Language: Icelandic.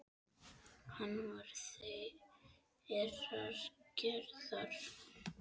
Hann var þeirrar gerðar.